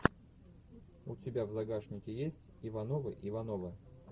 у тебя в загашнике есть ивановы ивановы